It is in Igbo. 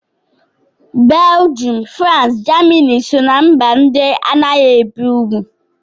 Belgium, France, Germany so ná mba ndị anaghị ebi ugwu